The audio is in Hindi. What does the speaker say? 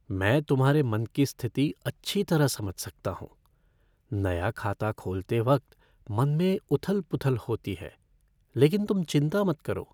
मैं तुम्हारे मन की स्थिति अच्छी तरह समझ सकता हूँ। नया खाता खोलते वक्त मन में उथल पुथल होती है, लेकिन तुम चिंता मत करो।